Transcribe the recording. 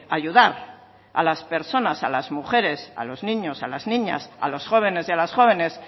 ayudar a las personas a las mujeres a los niños a las niñas a los jóvenes y a las jóvenes